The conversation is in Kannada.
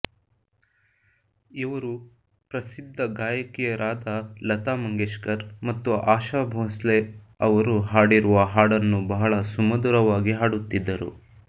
ಇವರು ಪ್ರಸಿದ್ಧ ಗಾಯಕಿಯರಾದ ಲತಾ ಮಂಗೇಶ್ಕರ್ ಮತ್ತು ಆಶಾ ಭೋಸ್ಲೆ ಅವರು ಹಾಡಿರುವ ಹಾಡನ್ನು ಬಹಳ ಸುಮಧುರವಾಗಿ ಹಾಡುತ್ತಿದ್ದರು